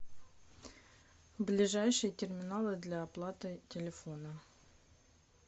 ближайшие терминалы для оплаты телефона